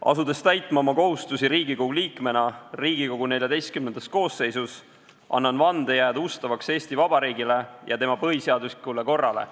Asudes täitma oma kohustusi Riigikogu liikmena Riigikogu XIV koosseisus, annan vande jääda ustavaks Eesti Vabariigile ja tema põhiseaduslikule korrale.